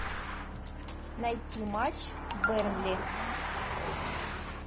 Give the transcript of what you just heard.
найти матч бернли